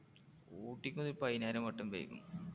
ഊട്ടിക്ക് ഒരു പതിനായിരം വട്ടം പൊയ്യക്കണ്.